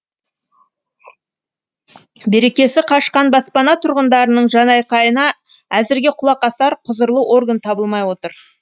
берекесі қашқан баспана тұрғындарының жанайқайына әзірге құлақ асар құзырлы орган табылмай отыр